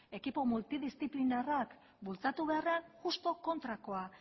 ekipo multidisplinarrak bultzatu beharrean justu kontrakoa